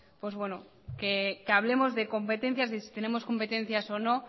que hablemos de competencias de si tenemos competencias o no